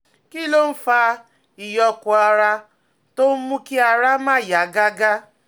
Kí ló ń fa ìyókù ara tó ń mú kí ara máa yá gágá?